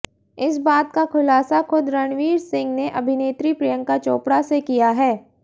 इस बात का खुलासा खुद रणवीर सिंह ने अभिनेत्री प्रियंका चोपड़ा से किया है